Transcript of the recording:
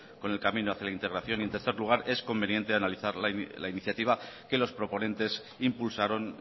con el camino hacia la integración y en tercer lugar es conveniente la iniciativa que los proponentes impulsaron